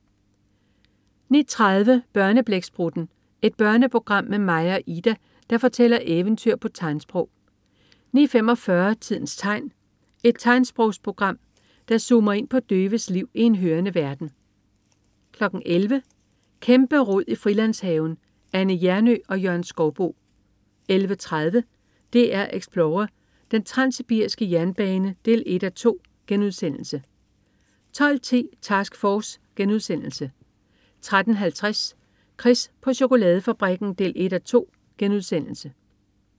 09.30 Børneblæksprutten. Et børneprogram med Maja og Ida, der fortæller eventyr på tegnsprog 09.45 Tidens tegn. Et tegnsprogsprogram, der zoomer ind på døves liv i en hørende verden 11.00 Kæmperod i Frilandshaven. Anne Hjernø og Jørgen Skouboe 11.30 DR Explorer: Den transsibiriske jernbane 1:2* 12.10 Task Force* 13.50 Chris på chokoladefabrikken 1:2*